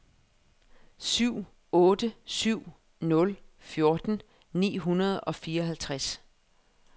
syv otte syv nul fjorten ni hundrede og fireoghalvtreds